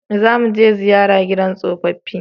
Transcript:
Za mu je ziyara gidan tsofaffi